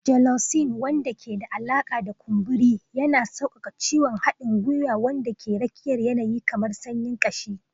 Gelocin, wanda ke da alaƙa da kumburi, yana sauƙaƙa ciwon haɗin gwiwa wanda ke rakiyar yanayi kamar sanyin kashi